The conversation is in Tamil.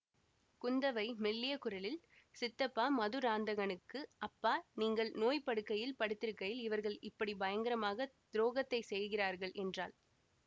குந்தவை மெல்லிய குரலில் சித்தப்பா மதுராந்தகனுக்கு அப்பா நீங்கள் நோய்ப்படுக்கையில் படுத்திருக்கையில் இவர்கள் இப்படி பயங்கரமான துரோகத்தைச் செய்கிறார்கள் என்றாள்